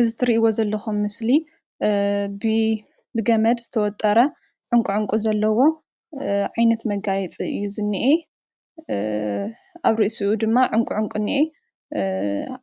እዚ እትሪኢዎ ዘለኩም ምስሊ ብ ገመድ ዝተወጠረ ዕኑቒ ዕኑቒ ዘለዎ ዓይነት መጋየፂ ኣዩ ዝንኤ። አብ ርእሲኡ ድማ ዕኑቒ ዕኑቒ እንኤ።